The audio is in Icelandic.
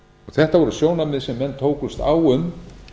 þetta voru sjónarmið sem menn tókust á um